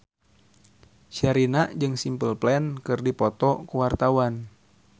Sherina jeung Simple Plan keur dipoto ku wartawan